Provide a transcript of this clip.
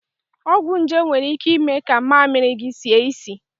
Ọgwụ nje nwere ike ime ka mmamịrị gị sie isi.